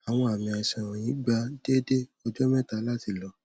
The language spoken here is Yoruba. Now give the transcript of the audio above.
awọn aami aisan wọnyi gba deede ọjọ mẹta lati lọ